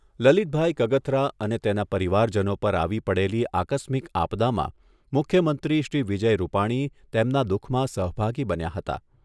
લલિતભાઈ કગથરા અને તેના પરિવારજનો પર આવી પડેલી આસ્કમિક આપદામાં મુખ્યમંત્રી શ્રી વિજય રૂપાણી તેમના દુખમાં સહભાગી બન્યા હતા.